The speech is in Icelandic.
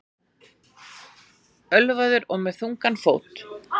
Ölvaður og með þungan fót